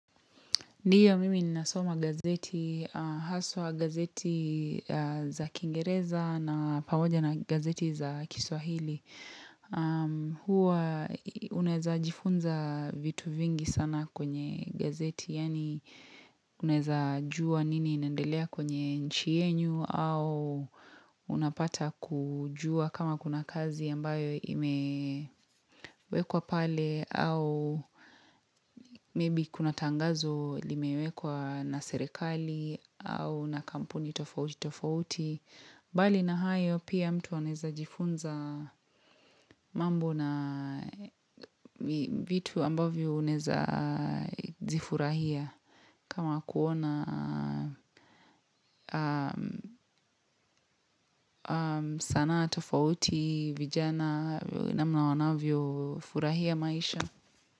Ndio mimi nasoma gazeti, haswa gazeti za kingereza na pamoja na gazeti za kiswahili. Huwa unaeza jifunza vitu vingi sana kwenye gazeti, Yani uneza juwa nini inendelea kwenye nchi yenyu au unapata kujua kama kuna kazi ambayo imewekwa pale au maybe kuna tangazo limewekwa na serekali au na kampuni tofauti tofauti. Bali na hayo pia mtu awaneza jifunza mambo na vitu ambavyo uneza zifurahia kama kuona sanaa tofauti vijana na mnawanavyo furahia maisha.